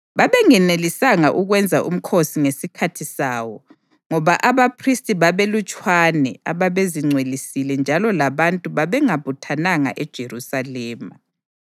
Babengenelisanga ukwenza umkhosi ngesikhathi sawo ngoba abaphristi babebalutshwana ababezingcwelisile njalo labantu babengabuthananga eJerusalema.